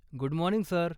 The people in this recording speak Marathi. Good morning, sir.